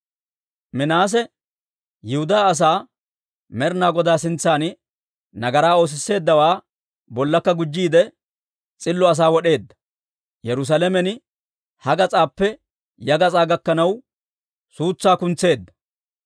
Minaase Yihudaa asaa Med'ina Godaa sintsan nagaraa oosisseeddawaa bollakka gujjiide, s'illo asaa wod'eedda; Yerusaalamen ha gas'aappe ya gas'aa gakkanaw, suutsaa kuntseedda.